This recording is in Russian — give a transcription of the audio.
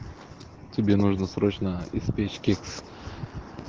тебе нужно срочно испечь кекс